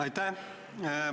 Aitäh!